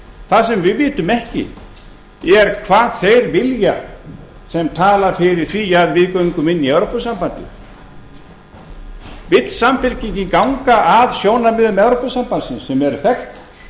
það sem við vitum ekki er hvað þeir vilja sem tala fyrir því að við göngum inn í evrópusambandið vill samfylkingin ganga að sjónarmiðum evrópusambandsins sem eru þekkt